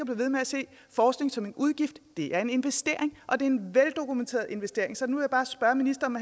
ved med at se forskning som en udgift det er en investering og det er en veldokumenteret investering så nu vil jeg bare spørge ministeren